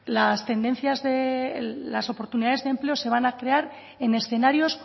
las oportunidades de empleo se van a crear en escenarios